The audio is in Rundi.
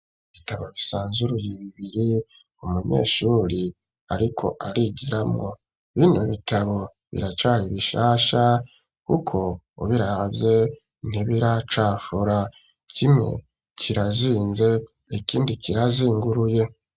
Ibitabo bisanzuruye bibiri umunyeshure ariko arigiramwo bino bitabo biracari bishasha kuko ubirahavye ntibiracafura kimwe kira zinze ikindi kira zinguruye.